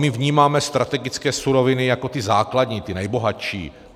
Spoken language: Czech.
My vnímáme strategické suroviny jako ty základní, ty nejbohatší.